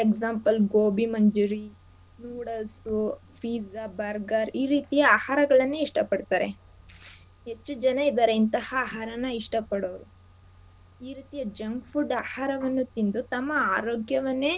pizza burger ಈ ರೀತಿಯ ಆಹಾರಗಳನ್ನೇ ಇಷ್ಟ ಪಡ್ತಾರೆ. ಹೆಚ್ಚು ಜನ ಇದಾರೆ ಇಂತಹ ಆಹಾರನ ಇಷ್ಟ ಪಡೋರು ಈ ರೀತಿ junk food ಆಹಾರವನ್ನು ತಿಂದು ತಮ್ಮ ಆರೋಗ್ಯವನ್ನೇ.